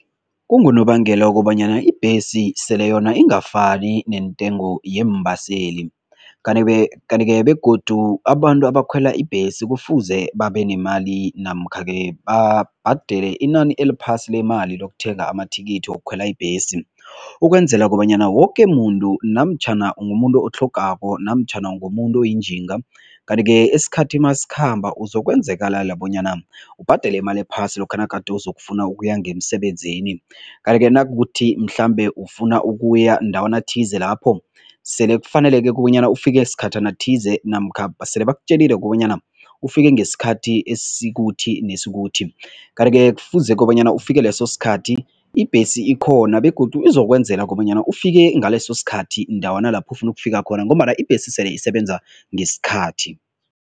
Kungonobangela wokobanyana ibhesi sele yona ingafani nentengo yeembaseli, kanti-ke kanti-ke begodu abantu abakhwela ibhesi kufuze babenemali namkha-ke babhadele inani eliphasi lemali lokuthenga amathikithi wokukhwela ibhesi ukwenzela kobanyana woke muntu namtjhana ungumuntu otlhogako namtjhana ungumuntu oyinjinga kanti-ke isikhathi masikhamba uzokwenzekalala bonyana ubhadele imali phasi lokha nagade uzokufuna ukuya ngemsebenzini kanti-ke nakukuthi mhlambe ufuna ukuya ndawana thize lapho sele kufaneleke kobanyana ufike sikhathana thize namkha sele bakutjelile kobanyana ufike ngesikhathi esikuthi nesithuthi, kanti-ke kufuze kobanyana ufike leso sikhathi, ibhesi ikhona begodu izokwenzela kobanyana ufike ngaleso sikhathi ndawana lapho ufuna ukufika khona ngombana ibhesi sele isebenza ngesikhathi.